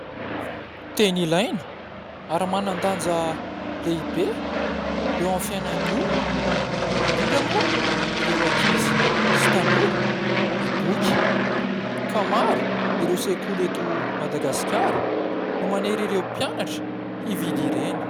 Teny ilaina ary manan-danja lehibe eo amin'ny fiainan'ny olona, indrindra moa ireo ankizy sy tanora ny boky ka maro ireo sekoly eto Madagasikara no manery ireo mpianatra hividy ireny.